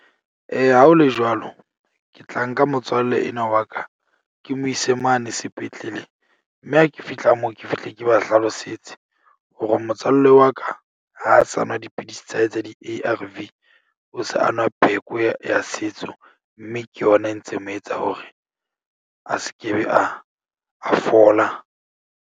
Ha ho le jwalo ke tla nka motswalle enwa wa ka, ke mo ise mane sepetlele. Mme ha ke fihla moo ke fihle ke ba hlalosetse, hore motswalle wa ka ha sa nwa dipidisi tsa hae tsa di-A_R _V. O se a nwa pheko ya ya setso mme ke yona e ntse mo etsa hore a se ke be a, a fola.